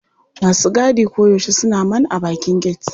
Masu gadi koyaushe suna man a bakin get.